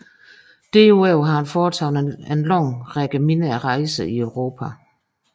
Derudover har han foretaget en lang række mindre rejser i Europa